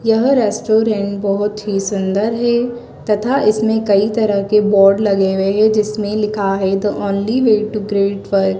यह रेस्टोरेंट बहोत ही सुंदर है तथा इसमें कई तरह के बोर्ड लगे हुए हैं जिसमें लिखा है the only way to great work --